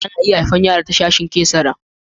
Ana iya haifi yara ta sashin cesarean.